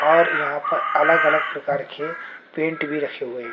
और यहां पर अलग अलग प्रकार के पेंट भी रखे हुए हैं।